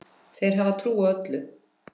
Þeir hafa trú á öllu.